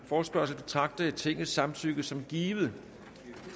forespørgsel betragter jeg tingets samtykke som givet